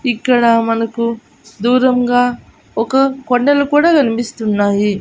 ఇక్కడ మనకు దూరంగా ఒక కొండలు కూడా గన్పిస్తున్నాయి .